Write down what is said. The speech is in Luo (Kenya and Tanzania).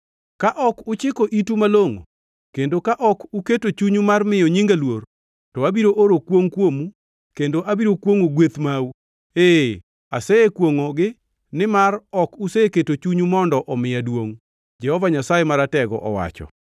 Ka ok uchiko itu malongʼo, kendo ka ok uketo chunyu mar miyo nyinga luor, to abiro oro kwongʼ kuomu kendo abiro kwongʼo gweth mau. Ee, asekwongʼo-gi nimar ok useketo chunyu mondo omiya duongʼ,” Jehova Nyasaye Maratego owacho.